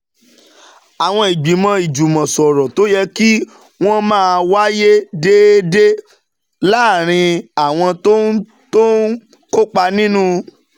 Àwọn ìgbìmọ̀ ìjùmọ̀sọ̀rọ̀ tó yẹ kí wọ́n máa wáyé déédéé láàárín àwọn tó ń tó ń kópa nínú